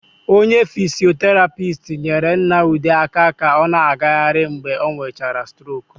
Onye fisioterapist nyere Nna Ude aka ka ọ na-agaghịrị mgbe ọ nwechara stroku.